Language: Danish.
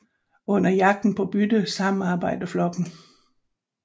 Under jagten på bytte samarbejder flokken